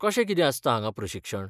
कशें कितें आसता हांगां प्रशिक्षण?